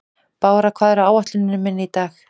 Bára, hvað er á áætluninni minni í dag?